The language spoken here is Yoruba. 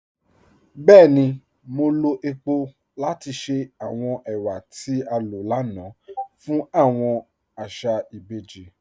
Bẹẹ̀ni, mo lọ epo lati ṣẹ awọn èwà tí a lọ lánà fun awọn àṣà ìbèjì.